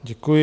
Děkuji.